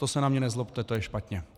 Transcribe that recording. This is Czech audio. To se na mě nezlobte, to je špatně!